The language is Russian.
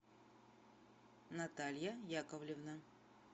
наталья яковлевна